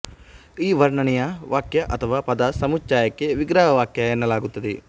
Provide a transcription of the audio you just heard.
ಈ ವರ್ಣನೆಯ ವಾಕ್ಯ ಅಥವಾ ಪದ ಸಮುಚ್ಚಯಕ್ಕೆ ವಿಗ್ರಹವಾಕ್ಯ ಎನ್ನಲಾಗುತ್ತದೆ